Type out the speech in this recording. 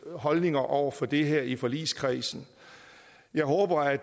holdninger over for det her i forligskredsen jeg håber at